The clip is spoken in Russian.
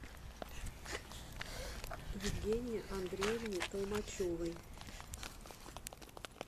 евгении андреевне толмачевой